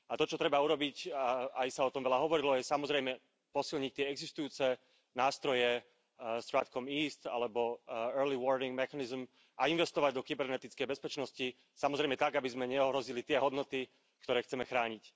A to čo treba urobiť, aj sa o tom veľa hovorilo, je samozrejme posilniť tie existujúce nástroje, StratCom East alebo early warning mechanism, a investovať do kybernetickej bezpečnosti, samozrejme tak, aby sme neohrozili tie hodnoty, ktoré chceme chrániť.